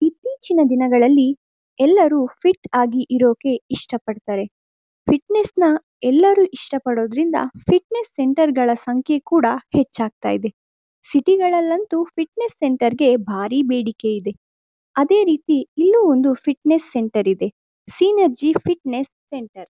ಇತ್ತೀಚಿನ ದಿನಗಳಲ್ಲಿ ಎಲ್ಲರು ಫಿಟ್ ಆಗಿ ಇರೋಕೆ ಇಷ್ಟ ಪಡ್ತಾರೆ. ಫಿಟ್ನೆಸ್ ನ ಎಲ್ಲರು ಇಷ್ಟ ಪಡೋದ್ರಿಂದ ಫಿಟ್ನೆಸ್ ಸೆಂಟರ್ ಗಾಲ ಸಂಖ್ಯೆ ಕೂಡ ಹೆಚ್ಚಾಗ್ತಾ ಇದೆ. ಸಿಟಿ ಗಳಲ್ಲಂತೂ ಫಿಟ್ನೆಸ್ ಸೆಂಟರ್ ಗಳಿಗೆ ಭಾರಿ ಬೇಡಿಕೆ ಇದೆ. ಅದೇ ರೀತಿ ಇಲ್ಲೂ ಒಂದು ಫಿಟ್ನೆಸ್ ಸೆಂಟರ್ ಇದೆ ಸಿನರ್ಜಿ ಫಿಟ್ನೆಸ್ ಸೆಂಟರ್ .